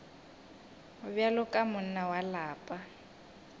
bjalo ka monna wa lapa